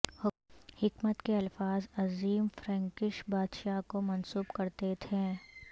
حکمت کے الفاظ عظیم فرینکش بادشاہ کو منسوب کرتی تھیں